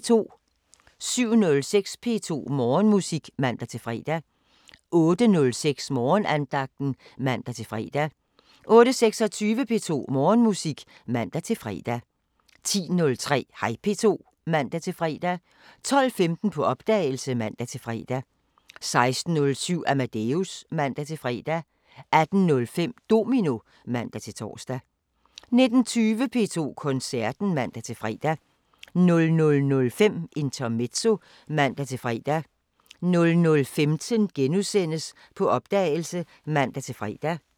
07:06: P2 Morgenmusik (man-fre) 08:06: Morgenandagten (man-fre) 08:26: P2 Morgenmusik (man-fre) 10:03: Hej P2 (man-fre) 12:15: På opdagelse (man-fre) 16:07: Amadeus (man-fre) 18:05: Domino (man-tor) 19:20: P2 Koncerten (man-fre) 00:05: Intermezzo (man-fre) 00:15: På opdagelse *(man-fre)